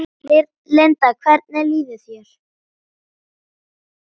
Linda: Hvernig líður þér?